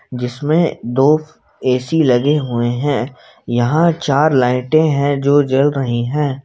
जिसमें दो ए_सी लगे हुए हैं यहां चार लाइटें है जो जल रहे हैं।